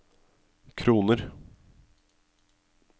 kroner